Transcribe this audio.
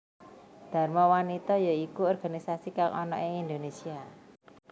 Dharma wanita ya iku organisasi kang ana ing Indonesia